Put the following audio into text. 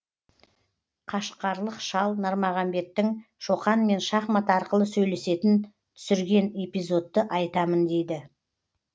қашқарлық шал нармағамбеттің шоқанмен шахмат арқылы сөйлесетін түсірген эпизодты айтамын дейді